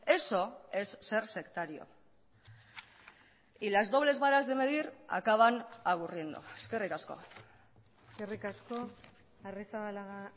eso es ser sectario y las dobles varas de medir acaban aburriendo eskerrik asko eskerrik asko arrizabalaga